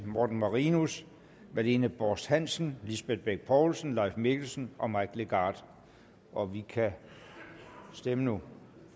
morten marinus marlene borst hansen lisbeth bech poulsen leif mikkelsen og mike legarth og vi kan stemme nu